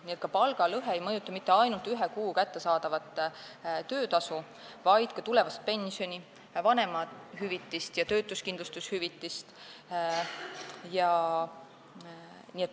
Nii et palgalõhe ei mõjuta mitte ainult ühes kuus kättesaadavat töötasu, vaid ka tulevast pensioni, vanemahüvitist ja töötuskindlustushüvitist.